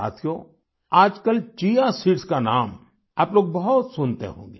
साथियो आजकल chia seeds chia seeds का नाम आप लोग बहुत सुनते होंगे